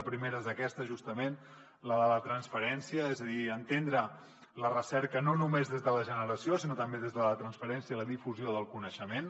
la primera és aquesta justament la de la transferència és a dir entendre la recerca no només des de la generació sinó també des de la transferència i la difusió del coneixement